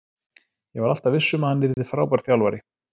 Ég var alltaf viss um að hann yrði frábær þjálfari.